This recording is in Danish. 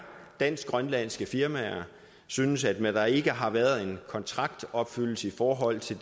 dansk grønlandske firmaer synes at der ikke har været en kontraktopfyldelse i forhold til